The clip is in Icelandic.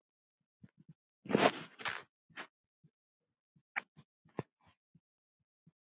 Þeir vildu ekki kaupa.